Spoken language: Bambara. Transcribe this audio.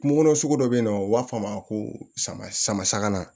Kungo kɔnɔ sugu dɔ bɛ yen nɔ u b'a fɔ a ma ko sama sama sagama